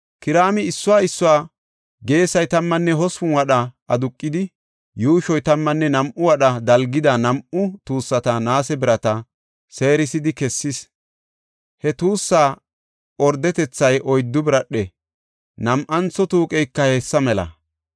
Kiraami issuwa issuwa geesay tammanne hospun wadha aduqidi, yuushoy tammanne nam7u wadha dalgida nam7u tuussata naase birata seerisidi kessis. He tuussa ordetethay oyddu biradhe. Nam7antho tuuqeyka hessa mela.